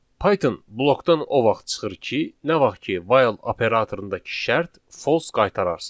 Python blokdan o vaxt çıxır ki, nə vaxt ki, while operatorundakı şərt false qaytararsa.